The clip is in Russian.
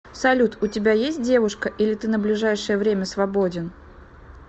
салют у тебя есть девушка или ты на ближайшее время свободен